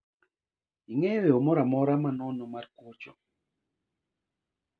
Ing'eyo yoo moro amora ma nono mar kwocho